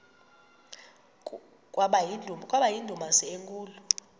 kwaba yindumasi enkulu